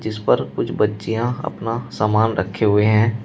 जिस पर कुछ बच्चिया अपना सामान रखे हुए हैं।